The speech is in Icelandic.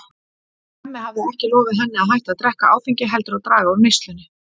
Hemmi hafði ekki lofað henni að hætta að drekka áfengi heldur að draga úr neyslunni.